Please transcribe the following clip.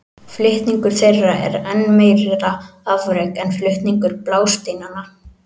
Flutningur þeirra er enn meira afrek en flutningur blásteinanna.